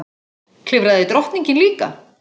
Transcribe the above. Klifraði drottningin líka?